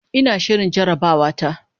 Ina shirin jarabawata.